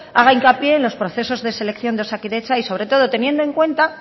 haga hincapié en los procesos de selección de osakidetza y sobre todo teniendo en cuenta